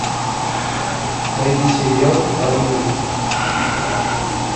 найди сериал воронины